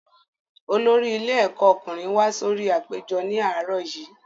Olórí ilé ẹ̀kọ́ ọkùnrin wá sórí apèjọ ní àárọ̀ yìí